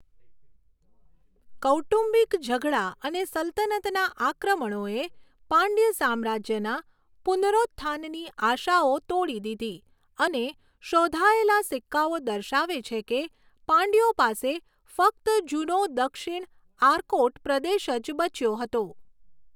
કૌટુંબિક ઝઘડા અને સલ્તનતના આક્રમણોએ પાંડ્ય સામ્રાજ્યના પુનરોત્થાનની આશાઓ તોડી દીધી, અને શોધાયેલા સિક્કાઓ દર્શાવે છે કે પાંડ્યો પાસે ફક્ત જૂનો દક્ષિણ આર્કોટ પ્રદેશ જ બચ્યો હતો.